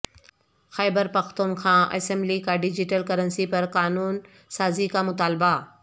خیبر Pakhtunkhwa assembly کا digital currency پر قانون سازی کا مطالبہ